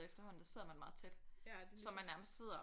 Efterhånden der sidder man meget tæt så man nærmest sidder